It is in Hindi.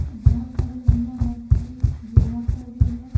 बहुत सारी महिला बैठकर योगा कर रही है।